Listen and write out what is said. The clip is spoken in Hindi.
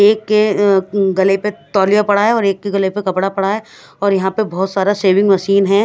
एक के अ- गले पे तोलिया पड़ा है और एक के गले पे कपडा पड़ा है और यहाँ पे बोहोत सारा शेविंग मशीन है।